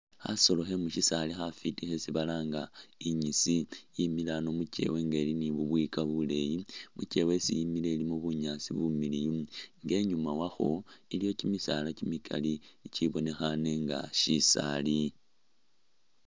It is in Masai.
Khasolo khe mu syisaali khesi balanga inyisi khemile ano mu kyeewa nga ili ni bubwika buleeyi. Mu kyeewa isi yimile ilimu bunyaasi bumiliyu nga inyuma wakho, iliyo kimisaala kimikali ikibonekhane nga syisaali.